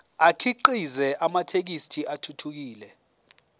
akhiqize amathekisthi athuthukile